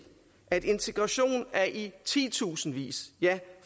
at integration af i titusindvis ja